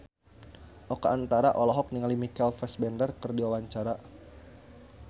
Oka Antara olohok ningali Michael Fassbender keur diwawancara